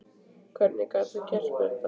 Hvernig gat hann gert mér þetta?